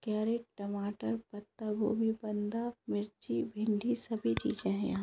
crate टमाटर पत्ता गोभी बंधा मिर्ची भिंडी सभी चीज़े हैं यहाँ --